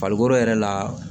Farikolo yɛrɛ la